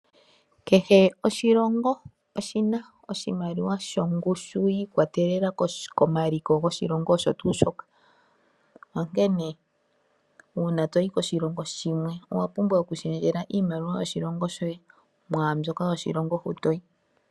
Kehe oshilongo oshina oshimaliwa shongushu yiikwatelela komaliko goshilongo osho tuu shoka, onkene uuna toyi koshilongo shimwe owa pumbwa oku shendjela iimaliwa yoshilongo shoye mwaambyoka yoshilongo hutoyi.